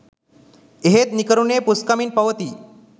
එහෙත් නිකරුණේ පුස්කමින් පවතියි